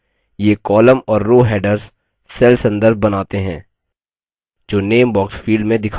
ये column और row headers cell संदर्भ बनाते हैं जो name box field में दिखाई देते हैं